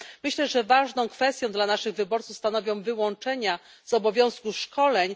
Myślę, że ważną kwestią dla naszych wyborców stanowią wyłączenia z obowiązku szkoleń.